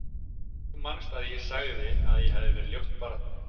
Þú manst að ég sagði að ég hefði verið ljótt barn.